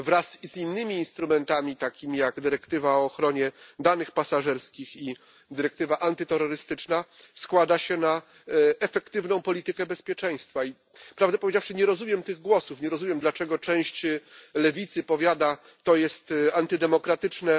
Wraz z innymi instrumentami, takimi jak dyrektywa o ochronie danych pasażerskich i dyrektywa antyterrorystyczna, składa się ono na efektywną politykę bezpieczeństwa i, prawdę powiedziawszy, nie rozumiem tych głosów, nie rozumiem, dlaczego część lewicy powiada, że jest to rozwiązanie antydemokratyczne.